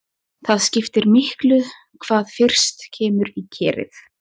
Það skiptir miklu hvað fyrst kemur í kerið.